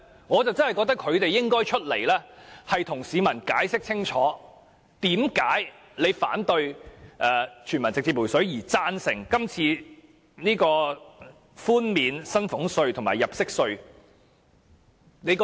我認為他們實在有必要站出來向市民解釋清楚，為何反對全民直接"回水"但贊成這次寬減薪俸稅和入息稅？